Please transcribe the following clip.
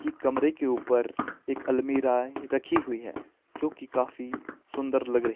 ये कमरे के ऊपर एक अलमीरा रखी हुई है जो की काफी सुंदर लग रही--